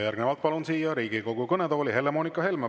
Järgnevalt palun siia Riigikogu kõnetooli Helle‑Moonika Helme.